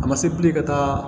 A ma se bilen ka taa